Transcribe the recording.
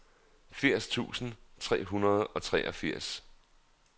firs tusind tre hundrede og treogfirs